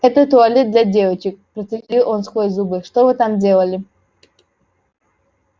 это туалет для девочек процедил он сквозь зубы что вы там делали